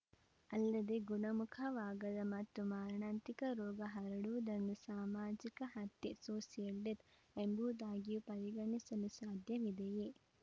ಅಲ್ಲದೆ ಗುಣಮುಖವಾಗದ ಮತ್ತು ಮಾರಣಾಂತಿಕ ರೋಗ ಹರಡುವುದನ್ನು ಸಾಮಾಜಿಕ ಹತ್ಯೆ ಸೋಸಿಯಲ್‌ ಡೆತ್‌ ಎಂಬುದಾಗಿಯೂ ಪರಿಗಣಿಸಲು ಸಾಧ್ಯವಿದೆಯೇ